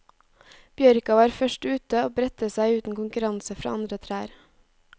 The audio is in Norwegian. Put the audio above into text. Bjørka var først ute og bredte seg uten konkurranse fra andre trær.